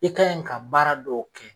I kan yi ka baara dɔw kɛ.